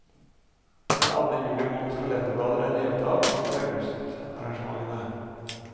Når alle juli måneds kalenderblader er revet av, kommer augustarrangementene.